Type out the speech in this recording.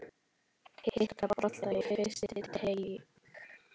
Hitta boltann á fyrsta teig.